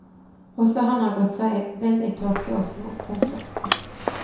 Også han har gått seg vill i tåke og sno. punktum